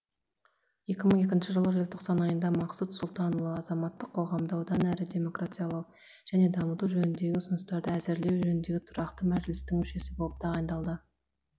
екі мың екінші жылы желтоқсан айында мақсұт сұлтанұлы азаматтық қоғамды одан әрі демократиялау және дамыту жөніндегі ұсыныстарды әзірлеу жөніндегі тұрақты мәжілістің мүшесі болып тағайындалды